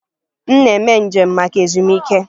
M na-eme njem maka ezumike.